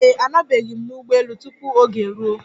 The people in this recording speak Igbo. Ee e, anọbeghị m n'ụgbọ elu tupu oge eruo.